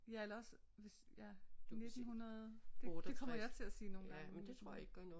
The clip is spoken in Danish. Ja eller også hvis ja nittenhundrede det kommer jeg til at sige nogle gange men